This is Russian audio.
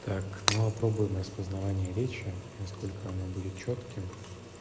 так но попробуем распознавание речи на сколько она будет чётким